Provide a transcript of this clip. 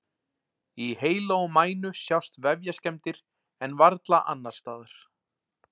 Í heila og mænu sjást vefjaskemmdir en varla annars staðar.